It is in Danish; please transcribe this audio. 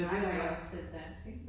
Så snakker jeg også selv dansk ik